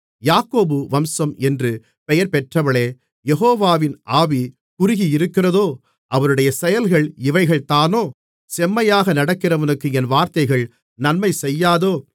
யாக்கோபு வம்சம் என்று பெயர் பெற்றவர்களே யெகோவாவின் ஆவி குறுகியிருக்கிறதோ அவருடைய செயல்கள் இவைகள்தானோ செம்மையாக நடக்கிறவனுக்கு என் வார்த்தைகள் நன்மை செய்யாதோ